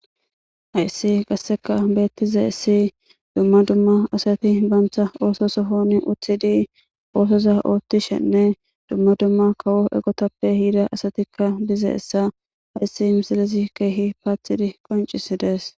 Hayssi qasseka bethizays dumma dumma assathi bantha osso sohon uthidi ossoza othishene dumma dumma kawo ogethape yiza assathi dizayssa hayssi missilezi kehi pathidi qoncisides.